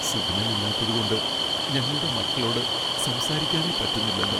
Signal ഇല്ലാത്തതുകൊണ്ട് ഞങ്ങളുടെ മക്കളോട് സംസാരിക്കാനേ പറ്റുന്നില്ലല്ലോ.